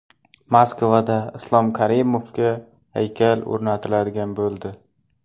Moskvada Islom Karimovga haykal o‘rnatiladigan bo‘ldi.